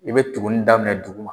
I bɛ tugunni daminɛ duguma